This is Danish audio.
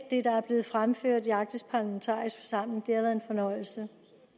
det der er blevet fremført i den arktiske parlamentariske forsamling været en fornøjelse